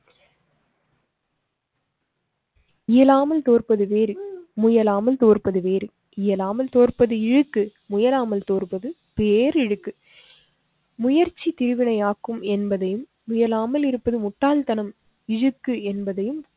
இயலாமல் தோற்பது வேறு. முயலாமல் தோற்பது வேறு இயலாமல் தோற்பது இழுக்கு முயலாமல் தோற்பது பேரிழுக்கு. முயற்சி திருவினையாக்கும் என்பதையும் முயலாமல் இருப்பது முட்டாள்தனம் இழுக்கு என்பதையும்